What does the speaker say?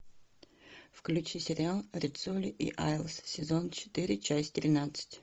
включи сериал риццоли и айлс сезон четыре часть тринадцать